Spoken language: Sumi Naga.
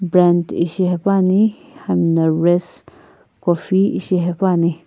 brand ishi hepuani hami na race coffee ishi hepuani.